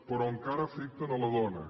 però encara afecten la dona